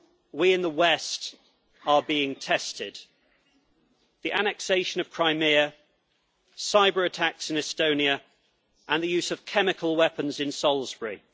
We in the West are being tested the annexation of Crimea, cyber-attacks in Estonia, and the use of chemical weapons in Salisbury.